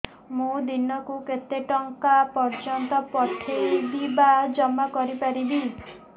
ମୁ ଦିନକୁ କେତେ ଟଙ୍କା ପର୍ଯ୍ୟନ୍ତ ପଠେଇ ବା ଜମା କରି ପାରିବି